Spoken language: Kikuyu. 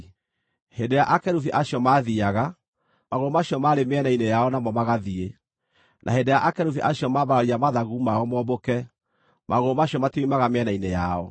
Hĩndĩ ĩrĩa akerubi acio maathiiaga, magũrũ macio maarĩ mĩena-inĩ yao namo magathiĩ; na hĩndĩ ĩrĩa akerubi acio maambararia mathagu mao mombũke, magũrũ macio matioimaga mĩena-inĩ yao.